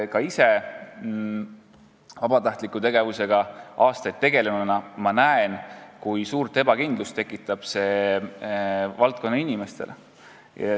Olen ise aastaid vabatahtliku tegevusega tegelenud ja näen, kui suurt ebakindlust tekitab see samm valdkonna inimestes.